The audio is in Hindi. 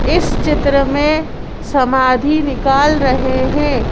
इस चित्र में समाधि निकाल रहे हैं।